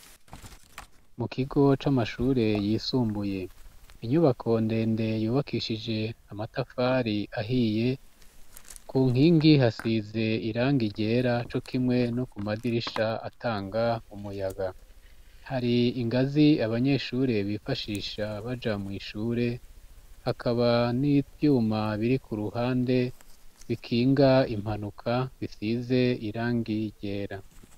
Mu kigo c'amashure yisumbuye, inyubako ndende yubakishije amatafari ahiye, ku nkingi hasize irangi ryera cokimwe no ku madirisha atanga umuyaga, hari ingazi abanyeshure bifashisha baja mw'ishure, hakaba n'ivyuma biri ku ruhande bikinga impanuka bisize irangi ryera.